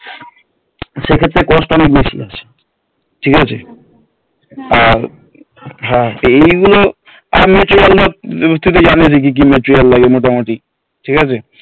সেক্ষেত্রে Cost অনেক বেশি আছে ঠিক আছে আর এই জিনিসগুলো আমি